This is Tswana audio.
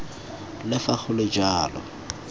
le fa go le jalo